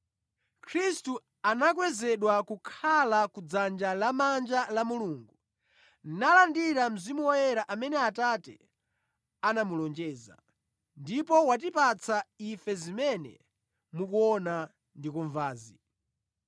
Khristu anakwezedwa kukhala kudzanja lamanja la Mulungu, nalandira Mzimu Woyera amene Atate anamulonjeza, ndipo watipatsa ife zimene mukuona ndi kumvazi.